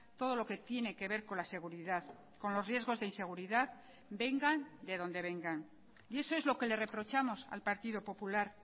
todo lo que tiene que ver con la seguridad con los riesgos de inseguridad vengan de donde vengan y eso es lo que le reprochamos al partido popular